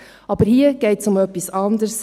Aber hier geht es um etwas anders: